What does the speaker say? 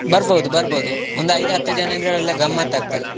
ಬರ್ಬೋದು ಬರ್ಬೋದು ಒಂದು ಐದು ಹತ್ತು ಜನ ಇದ್ರೆ ಒಳ್ಳೆ ಗಮ್ಮತ್ ಆಗ್ತದೆ.